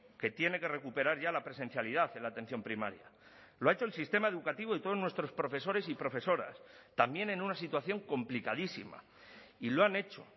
que tiene que recuperar ya la presencialidad en la atención primaria lo ha hecho el sistema educativo y todos nuestros profesores y profesoras también en una situación complicadísima y lo han hecho